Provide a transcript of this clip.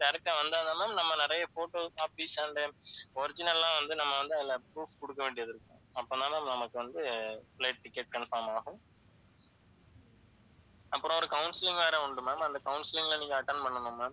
direct ஆ வந்தா தான் ma'am நம்ம நிறைய photos, copies and original எல்லாம் வந்து நம்ம வந்து அதில proof கொடுக்க வேண்டியது இருக்கும். அப்படின்னா நமக்கு வந்து flight ticket confirm ஆகும். அப்புறம் ஒரு counselling வேற உண்டு ma'am அந்த counselling ல நீங்க attend பண்ணனும் ma'am